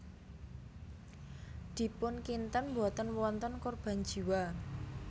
Dipun kinten boten wonten korban jiwa